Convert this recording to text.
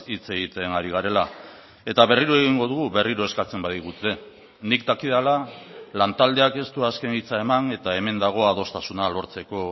hitz egiten ari garela eta berriro egingo dugu berriro eskatzen badigute nik dakidala lantaldeak ez du azken hitza eman eta hemen dago adostasuna lortzeko